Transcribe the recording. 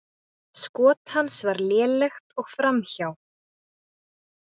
Skot hans var lélegt og framhjá.